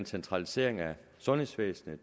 centralisering af sundhedsvæsenet